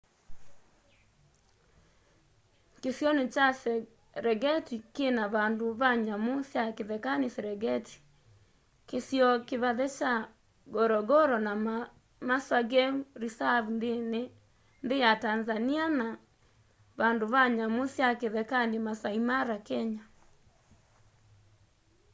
kĩsĩonĩ kya serengetĩ kĩna vandũ va nyamũ sya kĩthekanĩ serengetĩ kĩsĩo kĩvathe kya ngorongoro na maswa game reserve nthĩ ya tanzanĩa na vandũ va nyamũ sya kĩthekanĩ maasaĩ mara kenya